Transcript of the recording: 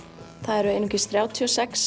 það eru einungis þrjátíu og sex